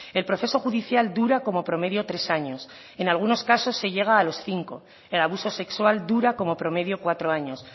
el proceso judicial dura como promedio tres años en algunos casos se llega a los cinco el abuso sexual dura como promedio cuatro años